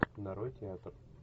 нарой театр